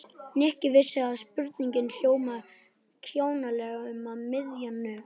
Nikki vissi að spurningin hljómaði kjánalega um miðja nótt.